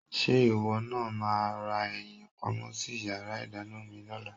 Ṣé ìwọ náà máa ra ẹyin pamọ́ sí yàrá ìdáná mi lọ́la?